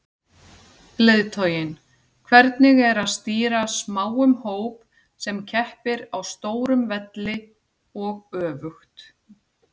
Leiðtoginn, hvernig er að stýra smáum hóp sem keppir á stórum velli og öfugt?